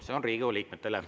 See on Riigikogu liikmetele.